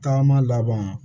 Tagama laban